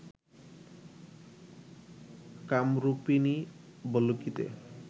কামরূপিণী ভল্লুকীতে